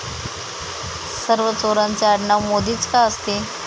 सर्व चोरांचे आडनाव मोदीच का असते?